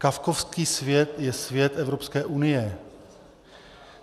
Kafkovský svět je svět Evropské unie.